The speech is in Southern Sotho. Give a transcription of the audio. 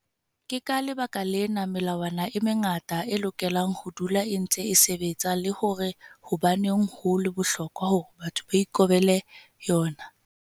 Ke ka lebaka lena melawana e mengata e lokelang ho dula e ntse e sebetsa le hore hobaneng ho le bohlokwa hore batho ba ikobele yona.